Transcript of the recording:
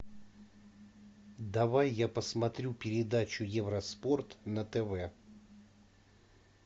давай я посмотрю передачу евроспорт на тв